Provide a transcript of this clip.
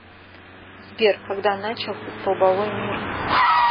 сбер когда начался столбовой мир